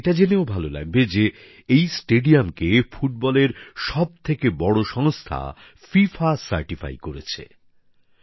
আপনাদের এটা জেনেও ভালো লাগবে যে এই স্টেডিয়ামকে ফুটবলের সব থেকে বড় সংস্থা ফিফা শংসায়িত করেছে